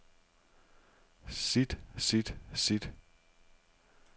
sit sit sit